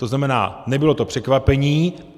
To znamená, nebylo to překvapení.